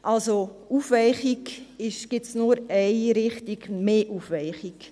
Es geht nur in Richtung mehr Aufweichung.